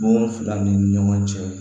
Bon fila ni ɲɔgɔn cɛ